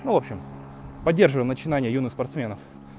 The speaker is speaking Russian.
ну в общем поддерживаем начинания юных спортсменов